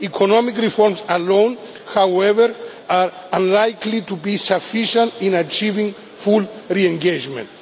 Economic reforms alone, however, are unlikely to be sufficient in achieving full re engagement.